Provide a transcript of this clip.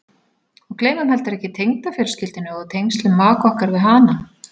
Og gleymum heldur ekki tengdafjölskyldunni og tengslum maka okkar við hana.